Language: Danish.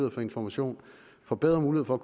at få information får bedre mulighed for at